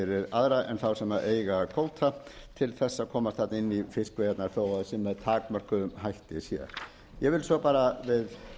aðra en þá sem eiga kvóta til þess að komast þarna inn í fiskveiðarnar þó það sé með takmörkuðum hætti hér ég vil svo bara